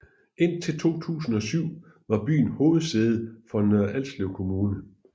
Indtil 2007 var byen hovedsæde for Nørre Alslev Kommune